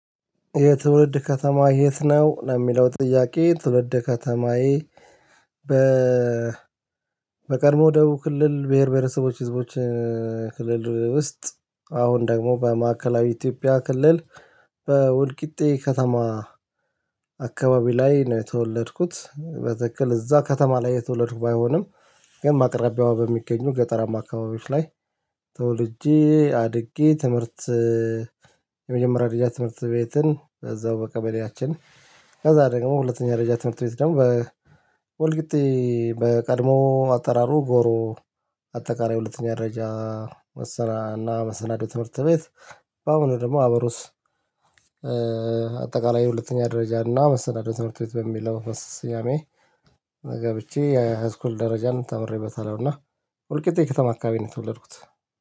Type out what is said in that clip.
የትውልድ ከተማ የት ነው? ለሚለው ጥያቄ ትውልድ ከተማዬ። በቅድሞው ደቡብ ክልል ብሄር ብሄረሰቦች ህዝቦች ክልል ውስጥ አሁን ደግሞ በማዕከላዊ ኢትዮጵያ ክልል በወልቂጤ ከተማ አካባቢ ላይ ነው የተወለድኩት። በትክክል እዛ ከተማ ላይ የተወለድኩ ባይሆንም ግን ማቅረቢያው በሚገኙ ገጠር አማካባቢዎች ላይ ተወልጄ አድጌ ትምህርት የመጀመሪያ ድርጅት ትምህርት ቤትን እዛው በቀበሌያችን። ከዛ ደግሞ ሁለተኛ ረጅም ትምህርት ቤት ደግሞ በወልቂጤ በቀድሞ አጠራሩ ጎሮ አጠቃራይ ሁለተኛ ደረጃ መሰናና መሰናዶ ትምህርት ቤት። በአሁኑ ደግሞ አበሩስ አጠቃላይ ሁለተኛ ደረጃ እና መሰናዶ ትምህርት ቤት በሚል ለመስስያሜ ገብቼ የሃይስኩል ደረጃንም ተምሬበታለሁና። ውልቂጤ ከተማ አካባቢ ነው የተወለድኩት